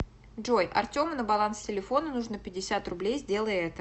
джой артему на баланс телефона нужно пятьдесят рублей сделай это